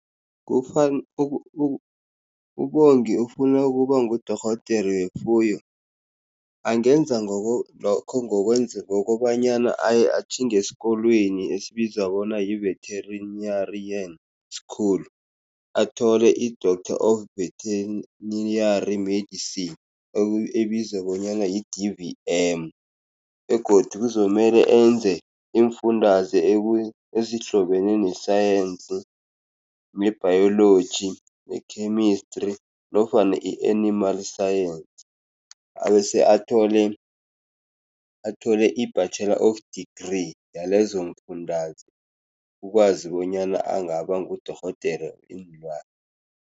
uBongi ufuna ukuba ngudorhodere wefuyo, angenza lokho ngokobanyana atjhinge esikolweni esibizwa bona yi-veterinarian school. Athole i-Doctor of Veterinary Medicine, ebizwa bonyana yi-D_V_M. Begodu kuzomele enze iimfundazwe ezihlobene nesayensi, ne-biology, ne-chemistry, nofana i-animal science. Bese athole, athole i-Bachelor of degree yalezo mfundazwe, ukwazi bonyana angaba ngudorhodere weenlwana.